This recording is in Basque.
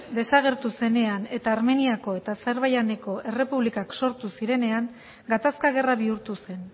desagertu zenean eta armeniako eta azerbaijaneko errepublikak sortu zirenean gatazka gerra bihurtu zen